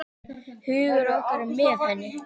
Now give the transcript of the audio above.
Hugur okkar er með henni.